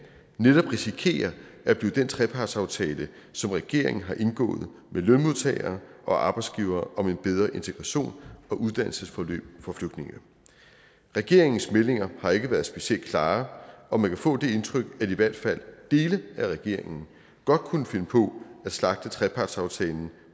netop risikerer at blive den trepartsaftale som regeringen har indgået med lønmodtagere og arbejdsgivere om et bedre integrations og uddannelsesforløb for flygtninge regeringens meldinger har ikke været specielt klare og man kan få det indtryk at i hvert fald dele af regeringen godt kunne finde på at slagte trepartsaftalen